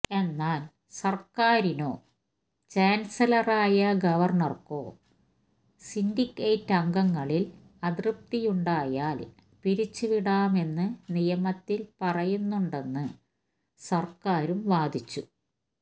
എന്നാല് സര്ക്കാരിനോ ചാന്സലറായ ഗവര്ണര്ക്കോ സിന്ഡിക്കേറ്റംഗങ്ങളില് അതൃപ്തിയുണ്ടായാല് പിരിച്ചുവിടാമെന്ന് നിയമത്തില് പറയുന്നുണ്ടെന്ന് സര്ക്കാരും വാദിച്ചു